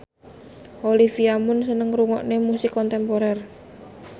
Olivia Munn seneng ngrungokne musik kontemporer